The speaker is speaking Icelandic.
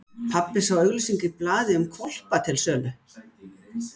Pabbi sá auglýsingu í blaði um hvolpa til sölu.